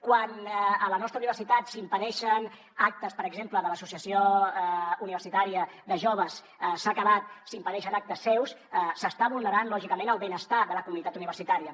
quan a la nostra universitat s’impedeixen actes per exemple de l’associació universitària de joves s’ha acabat s’impedeixen actes seus s’està vulnerant lògicament el benestar de la comunitat universitària